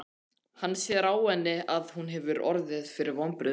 Hann sér á henni að hún hefur orðið fyrir vonbrigðum.